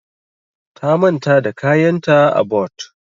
Ta manta da kayanta a but.